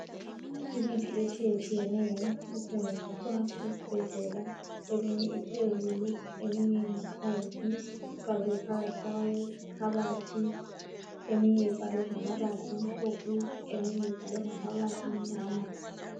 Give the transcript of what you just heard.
Imithi etshiye tshiyeneyo esetshenziswa esibhedlela eminye iphezulu eminye ingaphansi ifakwe phakathi kwekhabothi eminye ibhalwe ngamabala amhlophe eminye ibhalwe ngamabala amnyama.